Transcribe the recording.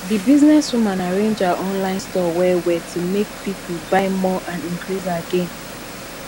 the business woman arrange her online store well well to make people buy more and increase her gain